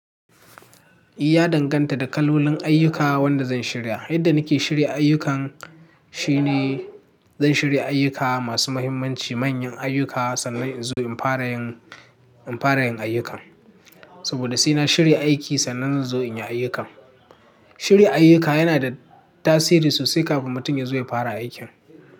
Ya danganta da kalolin ayyuka wanda zan shirya. Yadda nake shirya ayyukan, shine zan shirya ayyuka masu muhimmanci, manyan ayyuka sannan in zo in fara yin, in fara yin ayyukan. Saboda sai na shirya aiki sannan zan zo in yi ayyukan. Shirya ayyuka yana da tasiri sosai kafin mutum ya zo ya fara aikin.